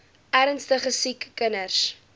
ernstige siek kinders